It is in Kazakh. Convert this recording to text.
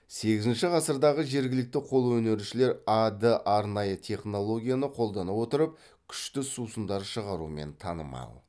сегізінші ғасырдағы жергілікті қолөнершілер а д арнайы технологияны қолдана отырып күшті сусындар шығарумен танымал